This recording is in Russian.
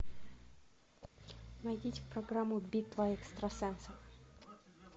найдите программу битва экстрасенсов